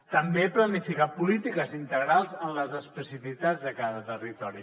també planificar polítiques integrals en les especificitats de cada territori